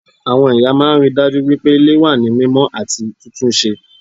Àwọn ìyá máa n ríi dájú wípé Ilé wà ní mímó àti títúnse